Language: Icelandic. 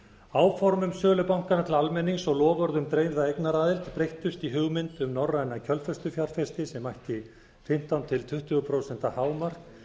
áform um sölu bankanna til almennings og loforð um dreifða eignaraðild breyttust í hugmynd um norræna kjölfestufjárfesti sem ætti fimmtán til tuttugu prósent hámark